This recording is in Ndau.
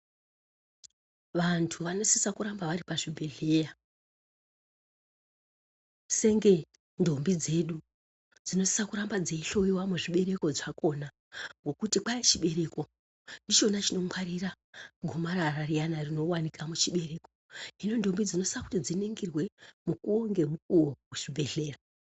Vantu vanosisa kuramba vari pazvibhedhleya. Senge ndombi dzedu, dzinosisa kuramba dzeihloyiwa muzvibereko zvakona, ngekuti kwai muchibereko, ndichona chinongwarira gomarara riyana rinowanika muchibereko. Hino ndombi dzinosisa kuti dziningirwe mukuwo ngemukuwo kucbibhedhleya.